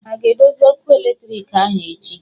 Ha a ga-edozi ọkụ eletriki ahụ echi?